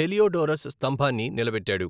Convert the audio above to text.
Heliodorus స్తంభాన్ని నిలబెట్టాడు.